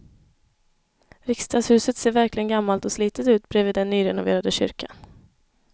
Riksdagshuset ser verkligen gammalt och slitet ut bredvid den nyrenoverade kyrkan.